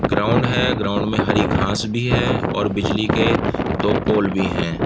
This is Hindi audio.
ग्राउंड है। ग्राउंड में हरी घास भी है और बिजली के दो पोल भी हैं।